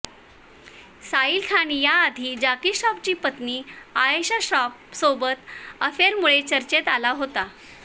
साहील खान याआधी जॅकी श्रॉफची पत्नी आयेशा श्रॉफ सोबत अफेयरमुळे चर्चेत आला होता